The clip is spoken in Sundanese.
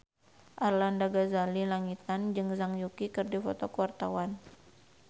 Arlanda Ghazali Langitan jeung Zhang Yuqi keur dipoto ku wartawan